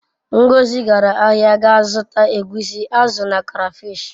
Ngozi gara ahia ga zuta egwusi, azu na crafish.